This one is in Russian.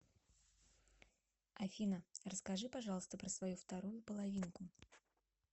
афина расскажи пожалуйста про свою вторую половинку